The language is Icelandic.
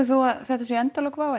þú að þetta séu endalok WOW